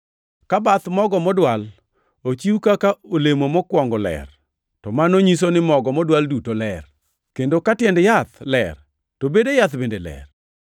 Ka bath mogo modwal ochiw kaka olemo mokwongo ler, to mano nyiso ni mogo modwal duto ler; kendo ka tiend yath ler, to bede yath bende ler.